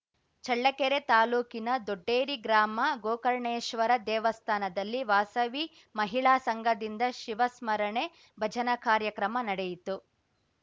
ಚಳ್ಳಕೆರೆ ತಾಲ್ಲೂಕಿನ ದೊಡ್ಡೇರಿ ಗ್ರಾಮ ಗೋಕರ್ಣೇಶ್ವರ ದೇವಸ್ಥಾನದಲ್ಲಿ ವಾಸವಿ ಮಹಿಳಾ ಸಂಘದಿಂದ ಶಿವ ಸ್ಮರಣೆ ಭಜನಾ ಕಾರ್ಯಕ್ರಮ ನಡೆಯಿತು